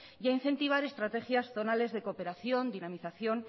y a incentivar estrategias zonales de cooperación dinamización